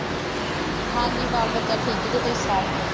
ਹਾਂ ਜੀ ਬਾਲ-ਬੱਚਾ ਠੀਕ ਜੇ, ਤੁਸੀਂ ਸੁਣਾਓ।